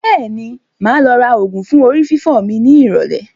Bẹ́ẹ̀ni, máa lọ ra ògùn fún orí fífọ́ mi ní ìrọ̀lẹ́